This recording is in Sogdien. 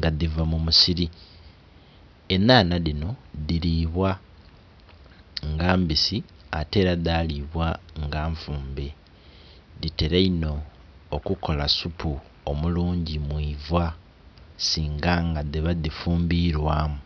nga dhiva mumusiri, enhanha dhinho dhilibwa nga mbisi ate era dhalibwa nga nfumbe. Dhitela inho okukola supu omulungi mwivaa singa nga dhiva dhifumbilwamu.